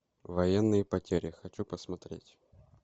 военные потери хочу посмотреть